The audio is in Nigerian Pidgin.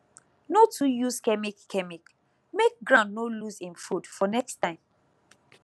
no too use chemic chemic make ground no lose him food for next time